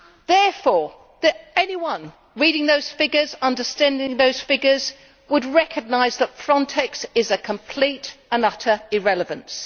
Therefore, anyone reading those figures, understanding those figures, would recognise that FRONTEX is a complete and utter irrelevance.